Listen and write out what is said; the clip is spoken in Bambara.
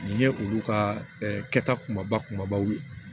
Nin ye olu ka kɛta kumaba kumabaw ye